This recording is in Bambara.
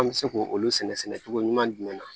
An bɛ se k'olu sɛnɛ sɛnɛ cogo ɲuman jumɛn na